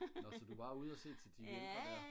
nå så du var ude og se til de ældre der